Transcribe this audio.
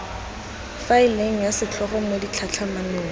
faeleng ya setlhogo mo ditlhatlhamanong